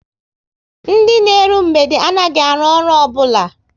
Ndị na eru mgbede anaghị arụ ọrụ obula